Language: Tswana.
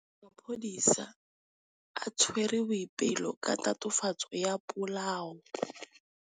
Maphodisa a tshwere Boipelo ka tatofatsô ya polaô.